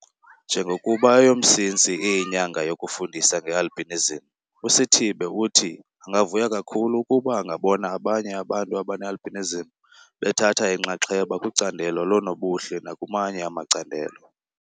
Njengokuba eyoMsintsi iyiNyanga yokuFundisa ngeAlbinism uSithibe uthi angavuya kakhulu ukuba angabona abanye abantu abane-albinism bethatha inxaxheba kwicandelo loonobuhle nakumanye amacandelo.